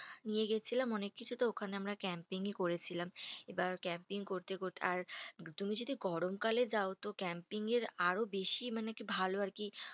নিয়ে গেছিলাম অনেক কিছু। তো ওখানে আমরা camping ই করেছিলাম। এবার camping করতে করতে আর তুমি যদি গরমকালে যাও তো camping এর আরো বেশি মানে ভালো আর কি।